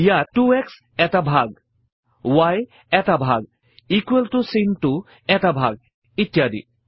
ইয়াত 2শ্ব এটা ভাগ y এটা ভাগ ইকোৱেল ত চিনটো এটা ভাগ ইত্যাদি